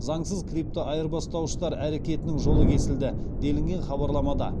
заңсыз криптоайырбастауыштар әрекетінің жолы кесілді делінген хабарламада